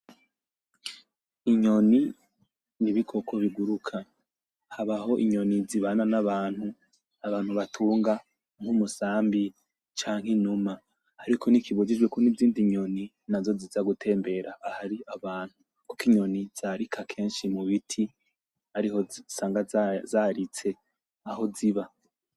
Inyoni ni ibikoko bigiruka. Habaho inyoni zibana n'abantu, abantu batunga, nk'umusambi canke inuma. Ariko ntikibujijwe ko n'izindi nyoni nazo ziza gutembera ahari abantu. Kuko inyoni zarika kenshi mubiti, ariho usanga zaritse, aho ziba.